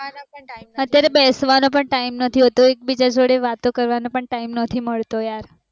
અત્યારે બેસવાનો પણ time નથી હોતો એક બીજા જોડે વાતો કરવાનો time નથી મળતો